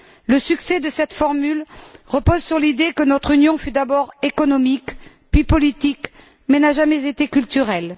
Le succès de cette formule repose sur l'idée que notre Union fut d'abord économique puis politique mais n'a jamais été culturelle.